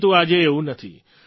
પરંતુ આજે એવું નથી